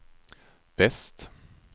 väst